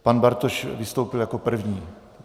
Pan Bartoš vystoupil jako první.